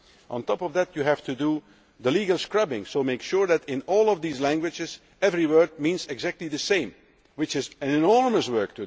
On top of this you have to do the legal scrubbing' to ensure that in all of these languages every word has exactly the same meaning, which is an enormous task.